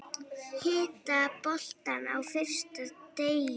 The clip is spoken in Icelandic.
Hitta boltann á fyrsta teig.